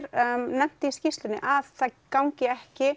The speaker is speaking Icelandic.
nefnt í skýrslunni að það gangi ekki